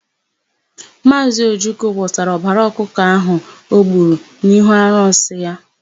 Maazị Ojukwu wụsara ọbara ọkụkọ ahụ o gburu n'ihu arụsị ya.